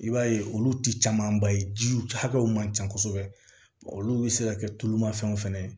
I b'a ye olu ti camanba ye jiw hakɛw man ca kosɛbɛ olu bɛ se ka kɛ tulumafɛnw fana ye